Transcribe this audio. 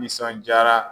Nisɔndiyara